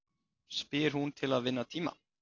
spyr hún til að vinna tíma.